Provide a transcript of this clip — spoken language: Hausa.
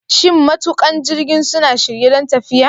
Shin matuƙan jirgin suna shirye don tafiya?